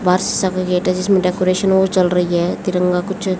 बाहर शीशा का गेट है जिसमें डेकोरेशन हो चल रही है तिरंगा कुछ--